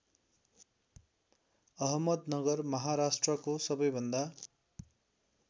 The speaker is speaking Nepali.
अहमदनगर महाराष्ट्रको सबैभन्दा